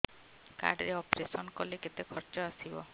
card ରେ operation କଲେ କେତେ ଖର୍ଚ ଆସିବ